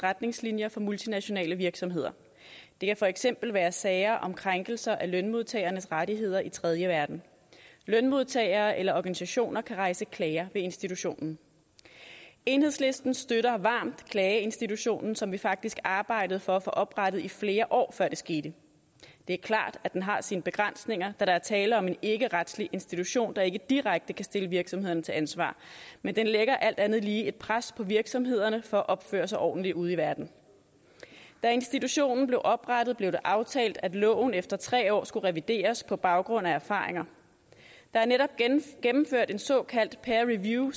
retningslinjer for multinationale virksomheder det kan for eksempel være sager om krænkelser af lønmodtagernes rettigheder i den tredje verden lønmodtagere eller organisationer kan rejse klager til institutionen enhedslisten støtter varmt klageinstitutionen som vi faktisk arbejdede for at få oprettet i flere år før det skete det er klart at den har sine begrænsninger da der er tale om en ikkeretslig institution der ikke direkte kan stille virksomhederne til ansvar men den lægger alt andet lige et pres på virksomhederne for at opføre sig ordentligt ude i verden da institutionen blev oprettet blev det aftalt at loven efter tre år skulle revideres på baggrund af erfaringer der er netop gennemført et såkaldt peer review